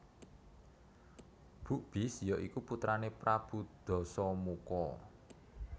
Bukbis ya iku putrané Prabu Dasamuka